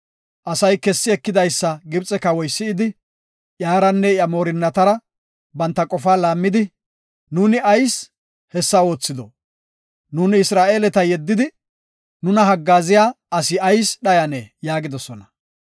Asay kessi ekidaysa Gibxe kawoy si7idi, iyaranne iya moorinnatara banta qofa laammidi, “Nuuni ayis hessa oothido? Nuuni Isra7eeleta yeddidi, nuna haggaaziya asi ayis dhayane” yaagidosona.